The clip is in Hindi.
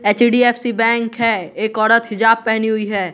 एच_डी_एफ_सी बैंक है एक औरत हिजाब पेहनी हुई है।